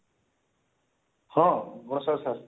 ହଁ ନମସ୍କାର sir